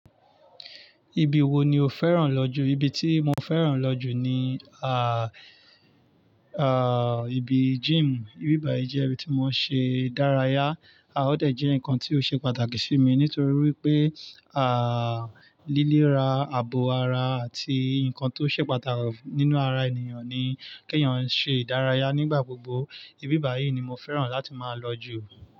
Ibi wo ni o fẹ́ràn lọ jù? Ibi tí mo fẹ́ràn lọ jù ni, àà, àà, ibi gym. Íbí báyìí jẹ́ ibi tí mo ń ṣe ìdárayá, a ò dẹ̀ jẹ́ ǹkan tí ó ṣe pàtàkì sí mi nítorí wípé, àà, lílé ra ààbò ara àti ǹkan tó ṣe pàtàkì nínú ara ènìyàn ni kí ẹ̀yàn ṣe ìdárayá nígbà gbogbo. Íbí báyìí ni mo fẹ́ràn láti máa lọ jù.